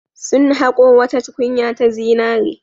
Sun haƙo wata tukunya ta zinare.